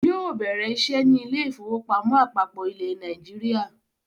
Yóò bẹ̀rẹ̀ iṣẹ́ ní Ilé-ìfowópamọ́ àpapọ ilẹ̀ Nàìjíríà.